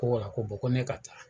Ko ko ko ne ka taa.